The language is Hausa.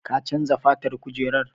Ka chanza fatan kujerar?